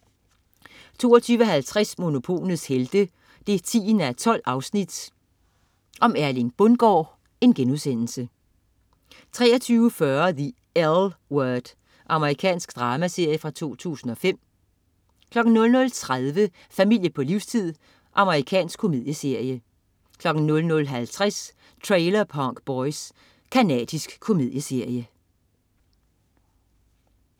22.50 Monopolets Helte 10:12. Erling Bundgaard* 23.40 The L Word. Amerikansk dramaserie fra 2005 00.30 Familie på livstid. Amerikansk komedieserie 00.50 Trailer Park Boys. Canadisk komedieserie